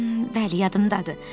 Bəli, yadımdadır.